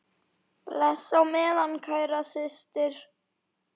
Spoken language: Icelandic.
Bless á meðan, kæra systir.